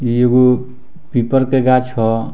इ एगो पीपल के गाछ हो।